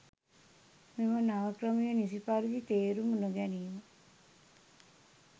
මෙම නව ක්‍රමය නිසි පරිදි තේරුම් නොගැනීම